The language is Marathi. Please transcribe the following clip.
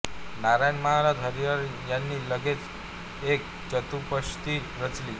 नारायण महाराज हरिहर यांनी लगेच एक चतुष्पदी रचली